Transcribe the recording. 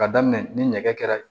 Ka daminɛ ni nɛgɛ kɛra